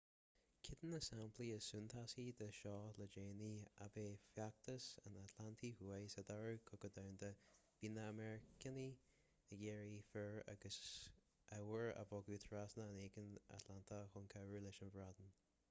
ceann de na samplaí is suntasaí de seo le déanaí ab ea feachtas an atlantaigh thuaidh sa dara cogadh domhanda bhí na meiriceánaigh ag iarraidh fir agus ábhair a bhogadh trasna an aigéin atlantaigh chun cabhrú leis an mbreatain